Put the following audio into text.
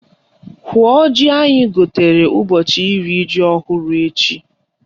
Hụọ ji anyị gwutere ụbọchị iri ji ọhụrụ echi!